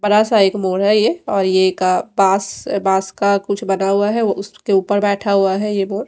बड़ा सा एक मोर है और ये का बास-बास का कुछ बना हुआ है उसके ऊपर बैठा हुआ है ये मोर --